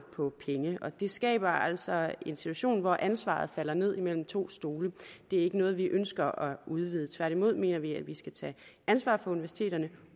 på penge og det skaber altså en situation hvor ansvaret falder ned imellem to stole det er ikke noget vi ønsker at udvide tværtimod mener vi at vi skal tage ansvar for universiteterne